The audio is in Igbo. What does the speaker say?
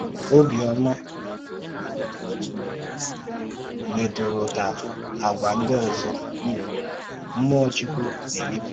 Ọ̀bịọ́mà mètúrụ̀tà àgwà ńdí òzò um mmụọ̀ Chúkwú na-èmépụ̀tà.